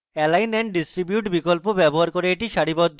align and distribute বিকল্প ব্যবহার করে এটি সারিবদ্ধ করুন